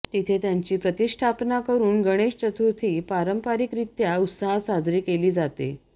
तिथे त्यांची प्रतिष्ठापना करून गणेश चतुर्थी पारंपारिकरित्या उत्साहात साजरी केली जाते